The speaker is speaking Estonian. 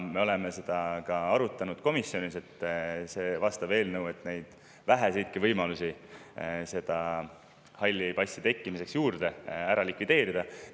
Me oleme ka komisjonis arutanud vastavat eelnõu, et neid väheseidki võimalusi, mis on hallide passide juurde tekkimiseks, ära likvideerida.